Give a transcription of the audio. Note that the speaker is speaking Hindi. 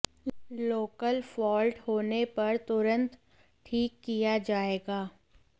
लोकल फॉल्ट होने पर तुरंत ठीक किया जाएगा